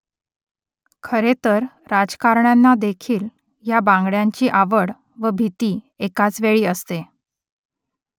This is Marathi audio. खरे तर राजकारण्यांनादेखील या बांगड्यांची आवड व भीती एकाचवेळी असते